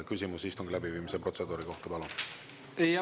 Küsimus istungi läbiviimise protseduuri kohta, palun!